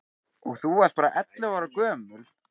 Og þú varst bara ellefu ára gömul.